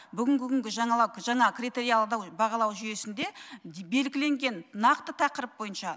бүгінгі күнгі жаңалық жаңа критериалды бағалау жүйесінде белгіленген нақты тақырып бойынша